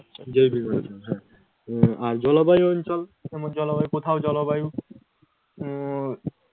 জৈবিক অঞ্চল। আচ্ছা। উম আর জলবায়ু অঞ্চল, আবার জলবায়ু কোথাও জলবায়ু উম